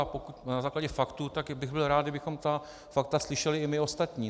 A pokud na základě faktů, tak bych byl rád, kdybychom ta fakta slyšeli i my ostatní.